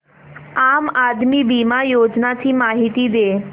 आम आदमी बिमा योजने ची माहिती दे